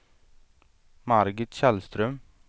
Margit Källström